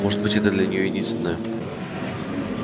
может быть это для нее единственная